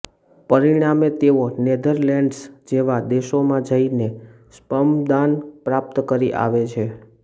પરિણામે તેઓ નેધરલેન્ડસ જેવાં દેશોમાં જઈને સ્પર્મદાન પ્રાપ્ત કરી આવે છે